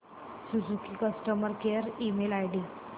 Suzuki customer care email ID